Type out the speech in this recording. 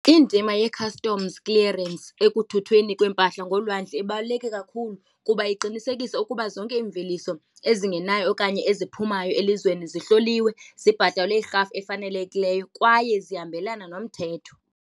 Indima yee-customs clearance ekuthuthweni kweempahla ngolwandle ibaluleke kakhulu kuba iqinisekisa ukuba zonke imveliso ezingenayo okanye eziphumayo elizweni zihloliwe, zibhatelwe irhafu efanelekileyo kwaye zihambelane nomthetho.